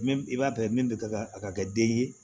Min i b'a bɛɛ min bɛ ka a ka kɛ den ye